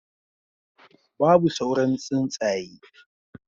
Babu sauran tsuntsaye